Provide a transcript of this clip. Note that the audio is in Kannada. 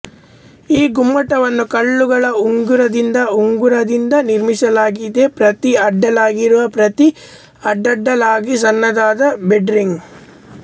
ಈ ಗುಮ್ಮಟವನ್ನು ಕಲ್ಲುಗಳ ಉಂಗುರದಿಂದ ಉಂಗುರದಿಂದ ನಿರ್ಮಿಸಲಾಗಿದೆ ಪ್ರತಿ ಅಡ್ಡಲಾಗಿರುವ ಪ್ರತಿ ಅಡ್ಡಡ್ಡಲಾಗಿ ಸಣ್ಣದಾದ ಬೆಡ್ ರಿಂಗ್